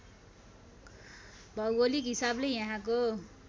भौगोलिक हिसाबले यहाँको